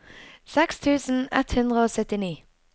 seks tusen ett hundre og syttini